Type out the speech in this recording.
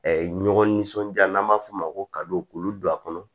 ɲɔgɔn nisɔndiya n'an b'a f'o ma ko ka don olu don a kɔnɔ